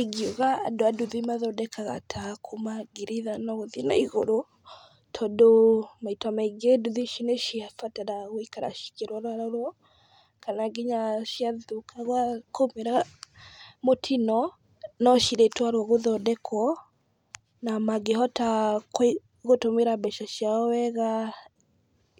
Ingiuga andũ a nduthi mathondekaga ta kuma ngiri ithano gũthiĩ na igũrũ , tondũ maita maingĩ nduthi ici nĩ cibataraga gũthiĩ ikĩrorarorwo, kana nginya ciathũka, kwa umĩra mũtino no cirĩtwarwo gũthondekwo, na mangĩhota kũhũthĩra mbeca ciao wega,